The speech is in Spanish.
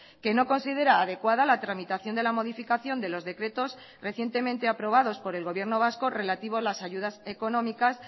que no considera adecuada la tramitación de la modificación de los decretos recientemente aprobados por el gobierno vasco relativo a las ayudas económicas